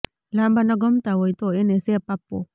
લાંબા નખ ગમતા હોય તો એને શેપ આપવો